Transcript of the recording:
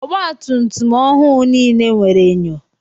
Ọgba tum tum ọhụụ nile nwere enyo.